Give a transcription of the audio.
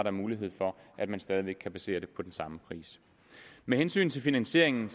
er mulighed for at man stadig væk kan basere det på den samme pris med hensyn til finansieringen